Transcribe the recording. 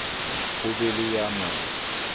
ho be le ya mo